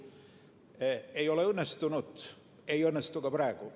Seda ei ole õnnestunud teha, ei õnnestu ka praegu.